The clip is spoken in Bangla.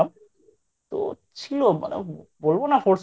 তো ছিল মানে বলবো না Force